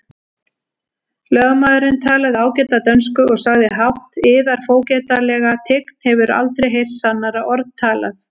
Lögmaðurinn talaði ágæta dönsku og sagði hátt:-Yðar fógetalega tign hefur aldrei heyrt sannara orð talað!